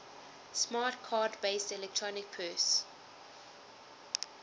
smart card based electronic purse